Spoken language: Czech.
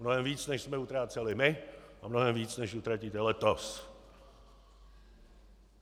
Mnohem víc, než jsme utráceli my, a mnohem víc, než utratíte letos!